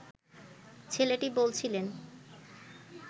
ছেলেটি বলছিলেন